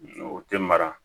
O tɛ mara